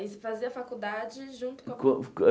Aí você fazia a faculdade junto com? Co a co eh